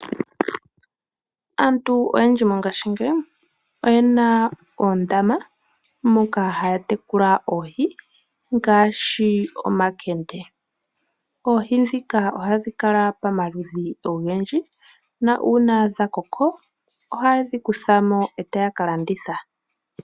Aantu oyendji mongashingeyi, oyena oondama moka haya tekula oohi, ngaashi omakende. Oohi dhika ohadhi kala pamaludhi ogendji, nuuna dhakoko, ohaye dhi yula mo etaya ka landitha.